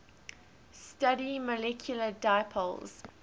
study molecular dipoles